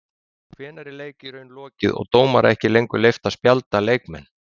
Hvenær er leik í raun lokið og dómara ekki lengur leyft að spjalda leikmenn?